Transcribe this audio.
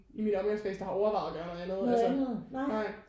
I min omgangskreds der har overvejet at gøre noget andet altså nej